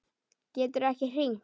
Geturðu ekki hringt?